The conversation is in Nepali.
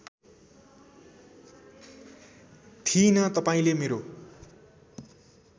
थिईंन तपाईँंले मेरो